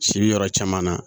Si bi yɔrɔ caman na